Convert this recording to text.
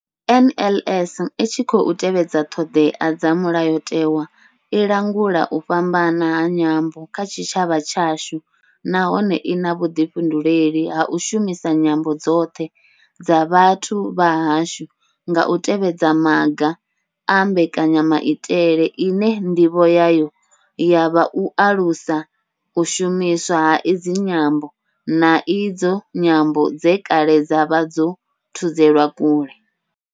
NLS I tshi khou tevhedza ṱhodea dza Mulayo tewa, i langula u fhambana ha nyambo kha tshitshavha tshashu nahone I na vhuḓifhinduleli ha u shumisa nyambo dzoṱhe dza vhathu vha hashu nga u tevhedza maga a mbekanya maitele ine ndivho yayo ya vha u alusa u shumiswa ha idzi nyambo, na idzo nyambo dze kale dza vha dzo thudzelwa kule.